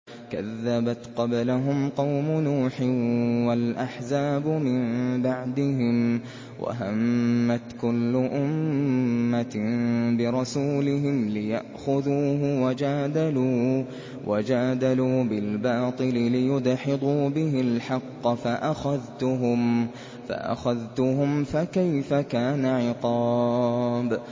كَذَّبَتْ قَبْلَهُمْ قَوْمُ نُوحٍ وَالْأَحْزَابُ مِن بَعْدِهِمْ ۖ وَهَمَّتْ كُلُّ أُمَّةٍ بِرَسُولِهِمْ لِيَأْخُذُوهُ ۖ وَجَادَلُوا بِالْبَاطِلِ لِيُدْحِضُوا بِهِ الْحَقَّ فَأَخَذْتُهُمْ ۖ فَكَيْفَ كَانَ عِقَابِ